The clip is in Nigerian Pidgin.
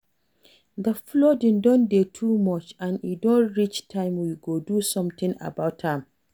The flooding don dey too much and e don reach time we go do something about am